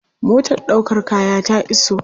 Motar ɗaukar kaya ta iso.